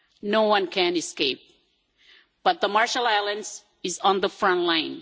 No one can escape, but the Marshall Islands is on the front line.